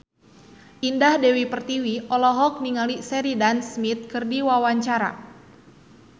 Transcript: Indah Dewi Pertiwi olohok ningali Sheridan Smith keur diwawancara